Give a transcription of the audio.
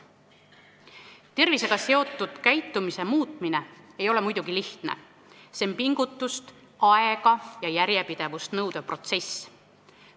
Tervisega seotud käitumise muutmine ei ole muidugi lihtne, see on pingutust, aega ja järjepidevust nõudev protsess.